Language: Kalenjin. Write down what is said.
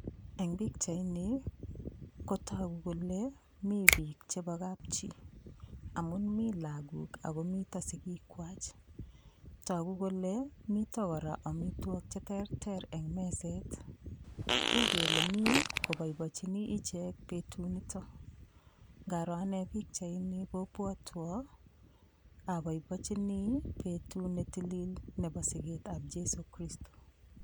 Eng' pikchaini kotoku kole mi biik chebo kapchii amun mi lakok akomito sikikwach toku kole mito kora omitwok cheterter eng' meset uu kele mi koboiboichini ichek betut nito ngaro ane pikchaini kopwotwo aboiboichini betut netilil nebo siketab Jeiso Kristo